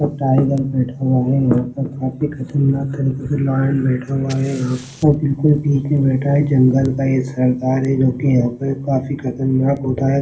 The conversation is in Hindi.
ओ टाइगर बैठा हुआ है और वो काफ़ी खतरनाक तरीके से लायन बैठा हुआ है वो बिल्कुल बीच में बैठा है जंगल का ये सरदार है जोकि यहाँ पर काफी खतरनाक होता हैं।